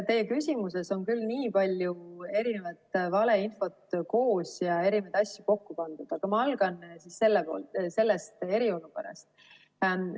Teie küsimuses on küll nii palju valeinfot koos ja erinevaid asju kokku pandud, aga ma alustan sellest eriolukorrast.